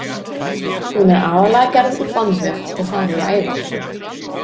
Hún er aðallega gerð úr bandvef og þar eru æðar.